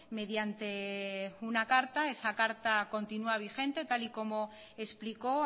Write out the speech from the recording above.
mediante una carta esa carta continua vigente tal y como explicó